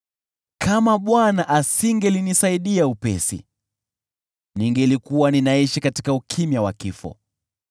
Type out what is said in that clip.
Kama Bwana asingelinisaidia upesi, ningelikuwa ninaishi katika ukimya wa kifo.